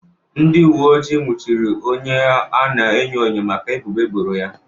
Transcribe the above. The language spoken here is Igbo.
Ndị uwe ojii nwụchiri onye a na-enyo enyo maka ebubo eboro ya.